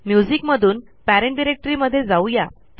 music मधून parent directory मध्ये जाऊ या